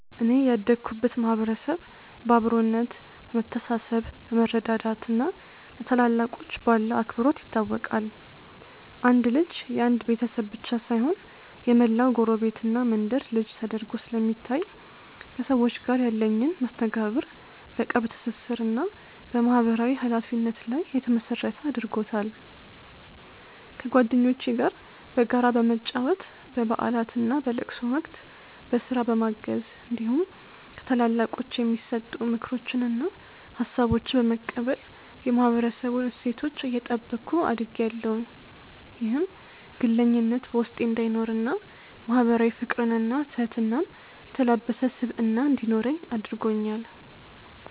እኔ ያደኩበት ማህበረሰብ በአብሮነት፣ በመተሳሰብ፣ በመረዳዳት እና ለታላላቆች ባለው አክብሮት ይታወቃል። አንድ ልጅ የአንድ ቤተሰብ ብቻ ሳይሆን የመላው ጎረቤትና መንደር ልጅ ተደርጎ ስለሚታይ፣ ከሰዎች ጋር ያለኝን መስተጋብር በቅርብ ትስስር እና በማህበራዊ ኃላፊነት ላይ የተመሰረተ አድርጎታል። ከጓደኞቼ ጋር በጋራ በመጫወት፣ በበዓላትና በለቅሶ ወቅት በስራ በማገዝ እንዲሁም ከታላላቆች የሚሰጡ ምክሮችንና ሀሳቦችን በመቀበል የማህበረሰቡን እሴቶች እየጠበኩ አድጌያለሁ። ይህም ግለኝነት በውስጤ እንዳይኖርና ማህበራዊ ፍቅርንና ትህትናን የተላበሰ ስብዕና እንዲኖረኝ አድርጎኛል።